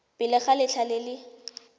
pele ga letlha le le